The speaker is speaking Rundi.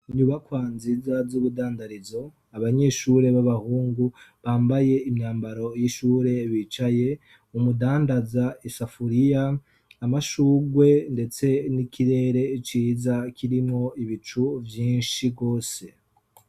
Inyubakwa nziza z’ubudandarizo abanyeshure b'abahungu bambaye imyambaro y’ishure bicaye, umudandaza isafuriya amashurwe ndetse n’ikirere ciza kirimwo ibicu vyinshi gose.